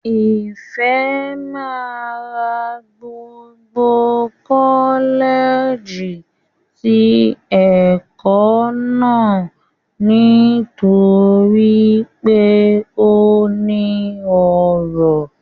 Ìfẹ́ máa ra gbogbo kọ́lẹ̀ẹ̀jì ti ẹ̀kọ́ náà nítorí pé ó ní ọrọ̀